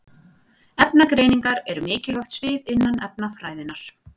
Efnagreiningar eru mikilvægt svið innan efnafræðinnar.